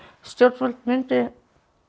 stjórnvöld myndu